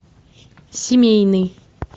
семейный